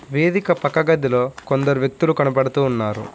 వేదిక పక్క గదిలో కొందరు వ్యక్తులు కనపడుతూ ఉన్నారు.